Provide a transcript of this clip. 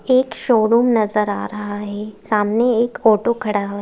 एक शोरूम नजर आ रहा है सामने एक ऑटो खड़ा हुआ है।